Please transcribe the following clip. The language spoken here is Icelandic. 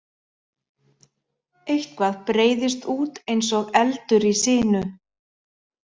Eitthvað breiðist út eins og eldur í sinu